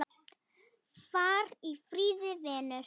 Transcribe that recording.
Far í friði, vinur.